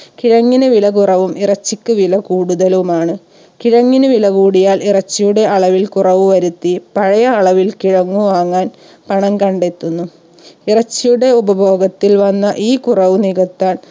കിഴങ്ങിന് വില കുറവും ഇറച്ചിക്ക് വില കൂടുതലുമാണ് കിഴങ്ങിന് വില കൂടിയാൽ ഇറച്ചിയുടെ അളവിൽ കുറവ് വരുത്തി പഴയ അളവിൽ കിഴങ്ങു വാങ്ങാൻ പണം കണ്ടെത്തുന്നു ഇറച്ചിയുടെ ഉപഭോഗത്തിൽ വന്ന ഈ കുറവ് നികത്താൻ